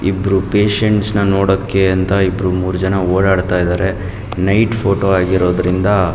ಇಬ್ರು ಪೇಷಂಟಸ್ ನೋಡೋಕೆ ಅಂತ ಇಬ್ರು ಮೂರ್ ಜನ ಓಡಾಡಿತ ಇದ್ದಾರೆ ನೈಟ್ ಫೋಟೋ ಆಗಿರೋದ್ರಿಂದ --